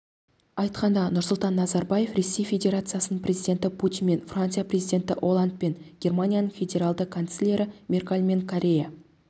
айтқанда нұрсұлтан назарбаев ресей федерациясының президенті путинмен франция президенті олландпен германияның федеральды канцлері меркельмен корея